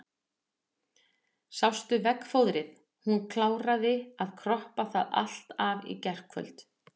Sástu veggfóðrið, hún kláraði að kroppa það allt af í gærkvöld.